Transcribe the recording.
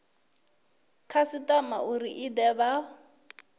khasitama uri i de vha